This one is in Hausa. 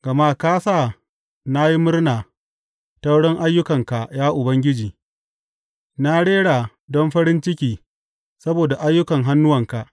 Gama ka sa na yi murna ta wurin ayyukanka, ya Ubangiji; na rera don farin ciki saboda ayyukan hannuwanka.